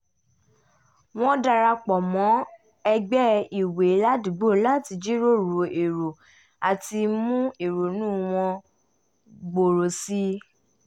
wọ́n dara pọ̀ mọ́ ẹgbẹ́ ìwé ládùúgbò láti jíròrò èrò àti mú ìrònú wọn gbòòrò sí i